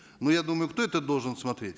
ну я думаю кто это должен смотреть